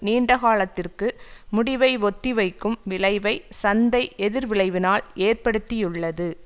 நீண்ட காலத்திற்கு முடிவை ஒத்திவைக்கும் விளைவை சந்தை எதிர்விளைவினால் ஏற்படுத்தியுள்ளது